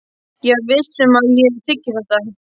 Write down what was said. Ég er ekki viss um að ég þiggi þetta.